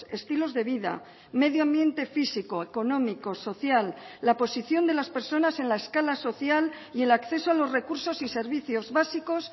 estilos de vida medio ambiente físico económico social la posición de las personas en la escala social y el acceso a los recursos y servicios básicos